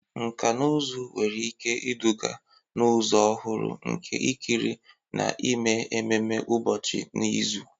Nkà na ụzụ nwere ike iduga n'ụzọ ọhụrụ nke ikiri na ime ememe ụbọchị n'izu.